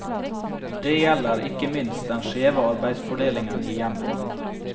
Det gjelder ikke minst den skjeve arbeidsfordelingen i hjemmet.